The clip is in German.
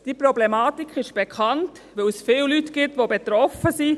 Die Problematik ist bekannt, weil es viele Leute gibt, die betroffen sind.